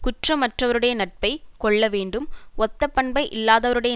குற்றமற்றவருடைய நட்பை கொள்ள வேண்டும் ஒத்தபண்பை இல்லாதவறுடைய